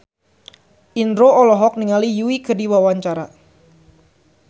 Indro olohok ningali Yui keur diwawancara